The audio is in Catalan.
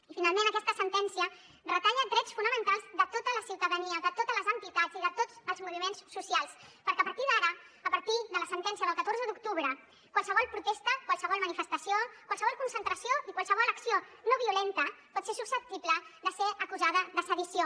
i finalment aquesta sentència retalla drets fonamentals de tota la ciutadania de totes les entitats i de tots els moviments socials perquè a partir d’ara a partir de la sentència del catorze d’octubre qualsevol protesta qualsevol manifestació qualsevol concentració i qualsevol acció no violenta pot ser susceptible de ser acusada de sedició